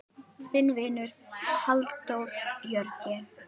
Þinn vinur, Halldór Jörgen.